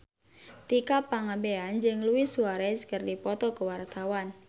Tika Pangabean jeung Luis Suarez keur dipoto ku wartawan